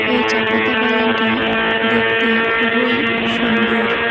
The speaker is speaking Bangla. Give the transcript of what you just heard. এই চা পাতা বাগানটি দেখতে খুবোই সুন্দর।